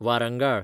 Warangal